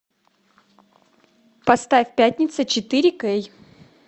поставь пятница четыре кей